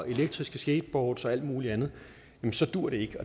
elektriske skateboards og alt muligt andet så duer det ikke